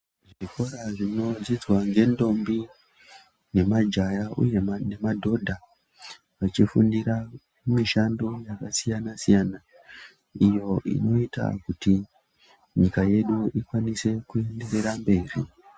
Zvikora zvinodzidzwa ngendombi nemajaya uye nemadhodha vachifundira mishando yakasiyana-siyana iyo inoita kuti nyika yedu ikwanise kuenderera mberi.